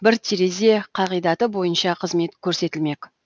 бір терезе қағидаты бойынша қызмет көрсетілмек